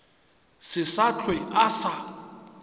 se sa hlwe a sa